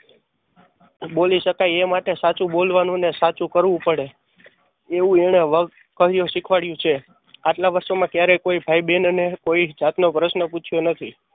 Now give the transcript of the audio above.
બોલી શકાય એ માટે સાચું બોલવાનું ને સાચું કરવું પડે એવું એને શીખવાડ્યું છે. આટલા વર્ષો માં કયારેય કોઈ ભાઈબેન અને કોઈ જાતનો પ્રશ્ન પુછ્યો નથી.